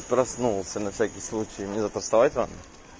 проснулся на всякий случай мне завтра вставать рано